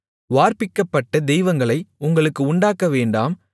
வார்ப்பிக்கப்பட்ட தெய்வங்களை உங்களுக்கு உண்டாக்கவேண்டாம்